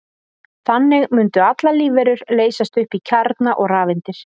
Þannig mundu allar lífverur leysast upp í kjarna og rafeindir.